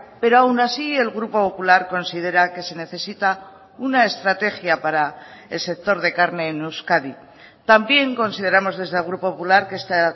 pero aun así el grupo popular considera que se necesita una estrategia para el sector de carne en euskadi también consideramos desde el grupo popular que esta